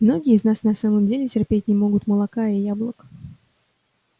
многие из нас на самом деле терпеть не могут молока и яблок